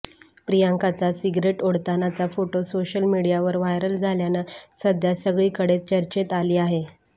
प्रियांकाचा cigarette ओढतानाचा photo social मीडियावर viral झाल्यानं सध्या सगळीकडेच चर्चेत आली आहे